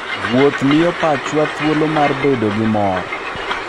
Wuoth miyo pachwa thuolo mar bedo gi mor.